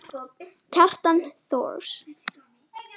Kjartan Thors.